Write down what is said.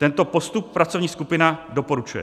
Tento postup pracovní skupina doporučuje.